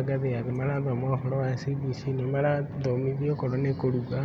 a ngathĩ ya thĩ marathoma ũhoro wa CBC nĩ marathomithio okorwo nĩ kũruga,